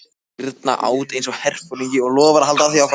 Birna át einsog herforingi og lofar að halda því áfram.